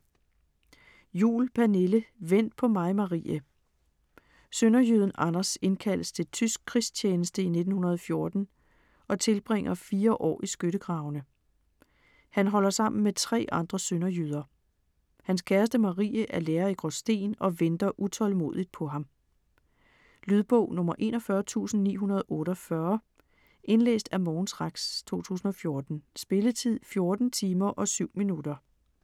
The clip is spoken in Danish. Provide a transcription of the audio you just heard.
Juhl, Pernille: Vent på mig Marie Sønderjyden Anders indkaldes til tysk krigstjeneste i 1914 og tilbringer fire år i skyttegravene. Han holder sammen med tre andre sønderjyder. Hans kæreste Marie er lærer i Gråsten og venter utålmodigt på ham. Lydbog 41948 Indlæst af Mogens Rex, 2014. Spilletid: 14 timer, 7 minutter.